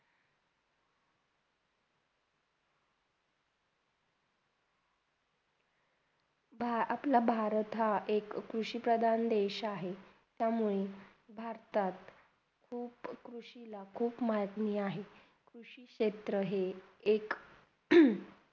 हा अपला हा भारत हा एक कृषी प्रधान देश आहे त्यामुळे भारतात खूप कृषीला खूप महत्त्णीय आहे क्षेत्र हे एक हम्म